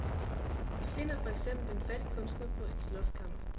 De finder for eksempel en fattig kunstner på et loftskammer.